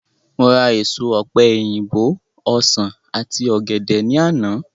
Mo ra èso ọ̀pe òyìnbó, ọsán àti ògèdè ní àná